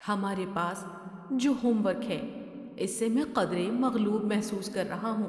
ہمارے پاس جو ہوم ورک ہے اس سے میں قدرے مغلوب محسوس کر رہا ہوں۔